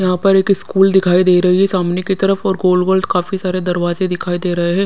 यहाँ पर एक इस्कूल दिखाई दे रही है सामने की तरफ और गोल गोल काफी सारे दरवाजे दिखाई दे रहे है।